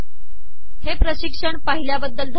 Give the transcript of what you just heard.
हे पिशकण पािहलयाबदल धनयवाद